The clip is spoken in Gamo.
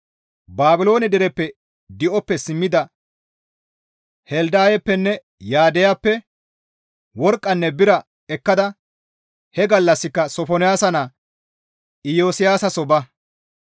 Baabiloone dereppe di7oppe simmida Heldayeppenne Yaddayappe worqqanne bira ekkada he gallassika Sofonaasa naa Iyosiyaasa soo ba.